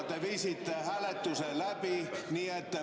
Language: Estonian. Te viisite hääletuse läbi.